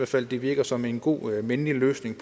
fald det virker som en god og mindelig løsning i